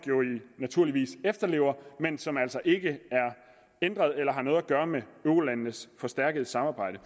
naturligvis efterlever men som altså ikke er ændret eller har noget at gøre med eurolandenes forstærkede samarbejde